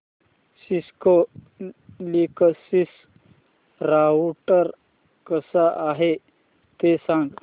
Cisco Linksys router कसा आहे ते सांग